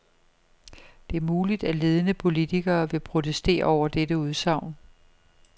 Det er muligt, at ledende politikere vil protestere over dette udsagn.